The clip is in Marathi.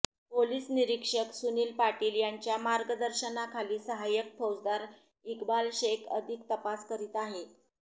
पोलीस निरीक्षक सुनील पाटील यांच्या मार्गदर्शनाखाली सहायक फौजदार इक्बाल शेख अधिक तपास करीत आहे